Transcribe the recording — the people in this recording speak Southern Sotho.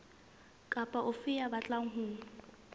kapa ofe ya batlang ho